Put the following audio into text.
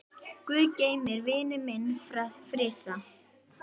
Guð geymi vininn minn Frissa.